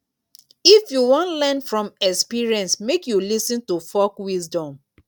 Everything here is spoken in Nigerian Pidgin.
if you wan learn from experience make you lis ten to folk wisdom.